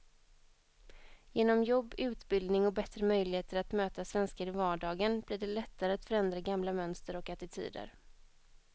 Genom jobb, utbildning och bättre möjligheter att möta svenskar i vardagen blir det lättare att förändra gamla mönster och attityder.